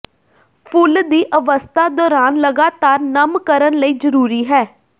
ਫੁੱਲ ਦੀ ਅਵਸਥਾ ਦੌਰਾਨ ਲਗਾਤਾਰ ਨਮ ਕਰਨ ਲਈ ਜ਼ਰੂਰੀ ਹੈ